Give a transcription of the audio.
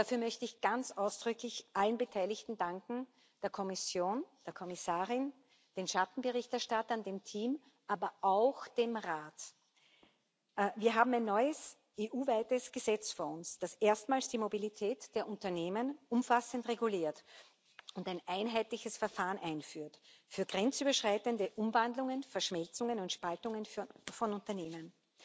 Dafür möchte ich ganz ausdrücklich allen Beteiligten danken der Kommission, der Kommissarin, den Schattenberichterstattern, dem Team, aber auch dem Rat. Wir haben ein neues EU weites Gesetz vor uns, das erstmals die Mobilität der Unternehmen umfassend reguliert und ein einheitliches Verfahren einführt für grenzüberschreitende Umwandlungen, Verschmelzungen und Spaltungen von Unternehmen.